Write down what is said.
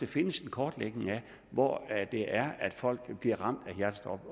findes en kortlægning af hvor det er folk bliver ramt af hjertestop